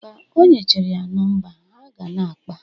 Ka onyechere ya nọmba, ha ga na-akpa